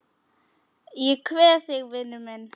Ég kveð þig vinur minn.